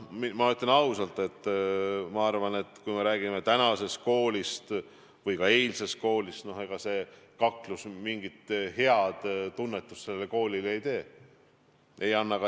Ma tunnistan, et ma arvan, et kui me räägime tänasest või ka eilsest koolist, siis ega see kaklus mingit head eeskuju koolilastele ei anna.